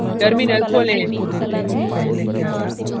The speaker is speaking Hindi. terminal खोलें